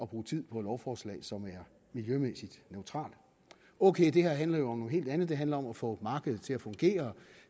bruge tid på lovforslag som er miljømæssigt neutrale ok det her handler jo om noget helt andet det handler om at få markedet til at fungere